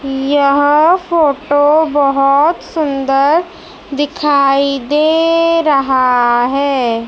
यह फोटो बहोत सुंदर दिखाई दे रहा हैं।